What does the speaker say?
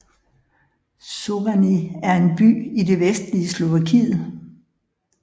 Šurany er en by i det vestlige Slovakiet